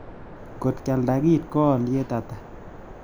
Kot kialda kiit ko alyet ata